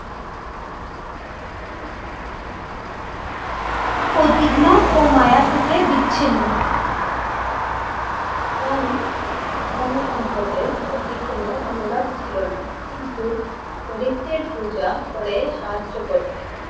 উদ্বিগ্ন বা মায়া থেকে বিচ্ছিন্ন ধন ধনসম্পদের প্রতি কোনো অনুরাগ ছিল না। কিন্তু করিত্বের পূজা করে সাহায্য করতেন।